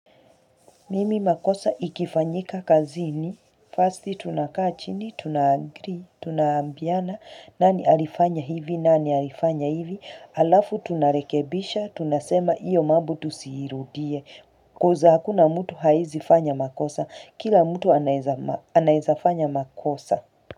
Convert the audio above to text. Mimi makosa ikifanyika kazini, first tunakaa chini, tuna agree, tunaambiana, nani alifanya hivi, nani alifanya hivi, alafu tunarekebisha, tunasema iyo mambo tusiirudie, because hakuna mtu hawezifanya makosa, kila mtu anaweza fanya makosa.